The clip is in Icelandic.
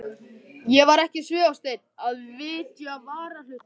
Ég var ekki svifaseinn að vitja varahlutanna.